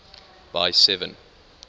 by seven